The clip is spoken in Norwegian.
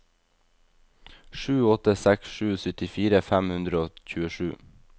sju åtte seks sju syttifire fem hundre og tjuesju